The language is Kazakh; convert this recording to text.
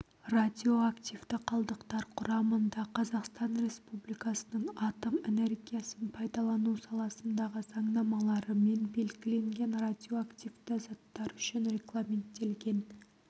радиоактивті қалдықтар құрамында қазақстан республикасының атом энергиясын пайдалану саласындағы заңнамаларымен белгіленген радиоактивті заттар үшін регламенттелген